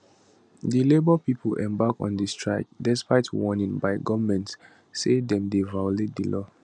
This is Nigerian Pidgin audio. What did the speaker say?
di labour pipo embark on di strike despite warning by goment say dem dey violate di law